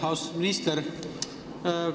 Austatud minister!